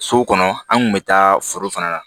So kɔnɔ an kun bɛ taa foro fana na